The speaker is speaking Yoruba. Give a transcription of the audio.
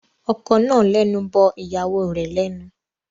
Ọkọ náà lẹnu bọ ìyàwó rẹ̀ lẹ́nu.